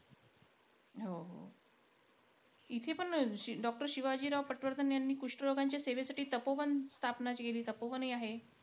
हो-हो. इथेपण doctor शिवाजीराव पटवर्धन यांनी कुष्ट रोगांच्या सेवेसाठी, तपोवन स्थापना केली. तपोवनही आहे